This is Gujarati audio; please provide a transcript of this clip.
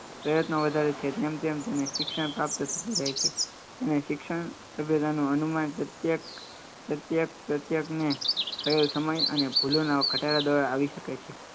પ્રયત્નો વધારે છે તેમ તેમ શિક્ષણ પ્રાપ્ત થતું રહે છે તેને શિક્ષણ સંવેદાનું હનુમાન પ્રત્યેક પ્રત્યેક પ્રત્યેકને થયેલ સમય અને ભૂલોના ખટારા દ્વારા આવી શકે છે